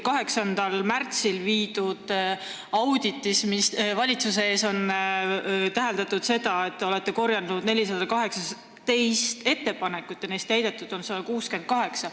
8. märtsil oli valitsuse ees audit, kus on täheldatud, et te olete korjanud 418 ettepanekut ja neist täidetud on 164.